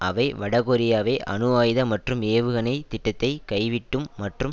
அவை வடகொரியாவை அணு ஆயுத மற்றும் ஏவுகணை திட்டத்தை கைவிட்டும் மற்றும்